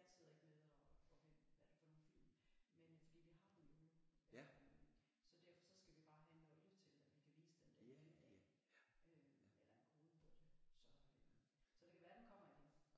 jeg sidder ikke med og hvem det er for nogle film fordi vi har dem jo så derfor så skal vi bare have login til at vi kan vise dem der eller en kode på det så så det kan være den kommer igen